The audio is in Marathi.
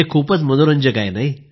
हे खूप मनोरंजक आहे